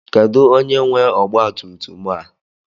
Kedu onye nwe ọgba tum tum a?